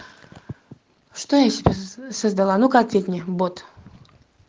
что я себе создала ну как ответь мне бот